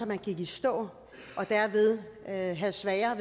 man i stå og havde havde sværere